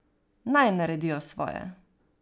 Naj naredijo svoje.